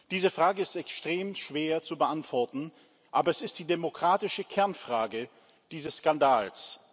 Diese Frage ist extrem schwer zu beantworten, aber es ist die demokratische Kernfrage dieses Skandals.